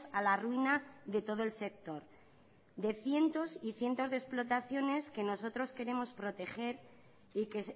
a la ruina de todo el sector de cientos y cientos de explotaciones que nosotros queremos proteger y que